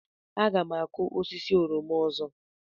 Aga m akụ osisi oroma ọzọ.